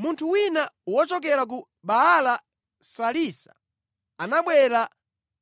Munthu wina wochokera ku Baala-Salisa anabwera